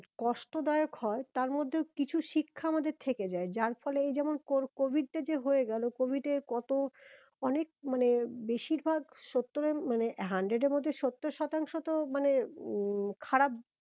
কষ্ট দায়ক হয়ে তার মধ্যেও কিছু শিক্ষা আমাদের থেকে যায় যার ফলে এই যেমন covid টা যে হয়ে গেলো covid এ কত অনেক মানে বেশির ভাগ সত্তরের মানে hundred এর মধ্যে সত্তর শতাংশ তো মানে উম খারাপ